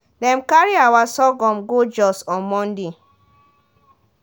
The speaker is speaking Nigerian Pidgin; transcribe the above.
dem carry our sorghum go jos on monday.